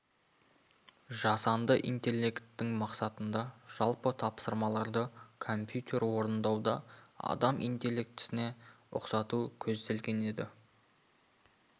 жасанды интеллекттің мақсатында жалпы тапсырмаларды компьютермен орындауда адам интеллектісіне ұқсату көзделген еді